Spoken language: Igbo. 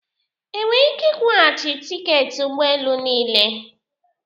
Enwere ike ịkwụghachi tiketi ụgbọ elu niile?